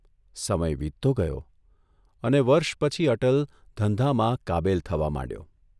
સમય વીતતો ગયો અને વર્ષ પછી અટલ ધંધામાં કાબેલ થવા માંડ્યો.